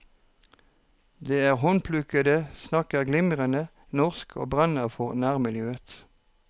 De er håndplukkede, snakker glimrende norsk og brenner for nærmiljøet.